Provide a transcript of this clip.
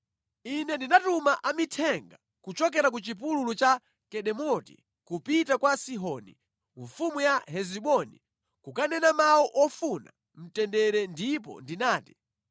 Ine ndinatuma amithenga kuchokera ku chipululu cha Kedemoti kupita kwa Sihoni mfumu ya Hesiboni kukanena mawu ofuna mtendere ndipo ndinati,